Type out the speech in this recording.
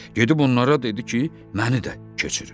Gedib onlara dedi ki, məni də keçirin.